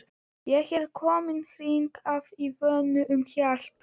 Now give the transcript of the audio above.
Ég er kominn hingað í von um hjálp.